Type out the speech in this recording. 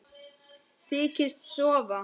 Þykist sofa.